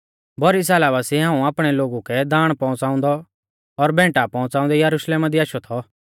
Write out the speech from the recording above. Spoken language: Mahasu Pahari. भौरी साला बासिऐ हाऊं आपणै लोगु कै दाण पौउंच़ाउंदौ और भैंटा च़ौड़ाउंदै यरुशलेमा दी आशौ थौ